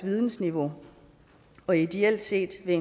vidensniveauet og ideelt set vil